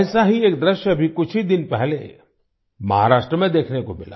ऐसा ही एक दृश्य अभी कुछ ही दिन पहले महाराष्ट्र में देखने को मिला